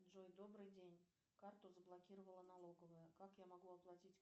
джой добрый день карту заблокировала налоговая как я могу оплатить